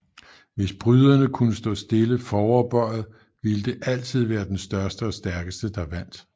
Hvis bryderne kunne stå stille foroverbøjet ville det altid være den største og stærkeste der vandt